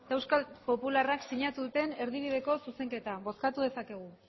eta euskal popularrak sinatu duten erdibideko zuzenketa bozkatu dezakegu